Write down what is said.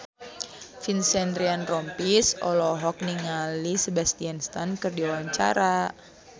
Vincent Ryan Rompies olohok ningali Sebastian Stan keur diwawancara